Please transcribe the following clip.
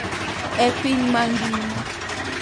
E piny mangima,